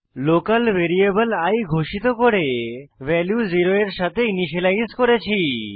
local variable i ঘোষিত করে value 0 এর সাথে ইনিসিয়েলাইজ করেছি